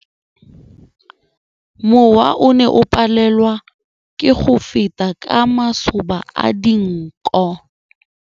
Mowa o ne o palelwa ke go feta ka masoba a dinko.